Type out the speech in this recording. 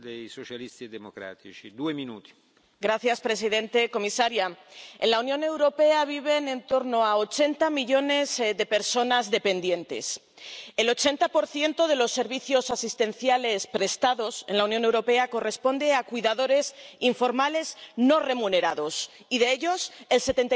Señor presidente, señora comisaria, en la Unión Europea viven en torno a ochenta millones de personas dependientes. El 80 de los servicios asistenciales prestados en la Unión Europea corresponde a cuidadores informales no remunerados, y de ellos, el 75